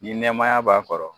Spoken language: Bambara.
Ni nɛmaya b'a kɔrɔ